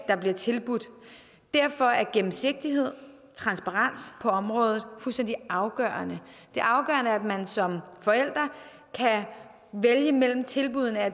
der bliver tilbudt derfor er gennemsigtighed transparens på området fuldstændig afgørende det afgørende er at man som forælder kan vælge mellem tilbuddene at